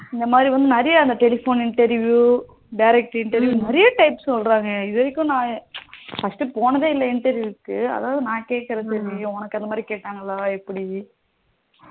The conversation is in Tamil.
இந்த மாதிரி வந்து அந்த telephone interview direct interview நிறைய types சொல்லுறாங்க இதுவரைக்கும் நா first போனது இல்ல interview அதாவது நா கேக்குறேன் தெறிஞ்சிக்க உனக்கு ஏதாவது கேட்டாங்களா எப்படி